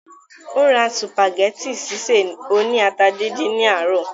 ó ra sùpàgẹ́tì sísè oní ata díndín ní àárọ̀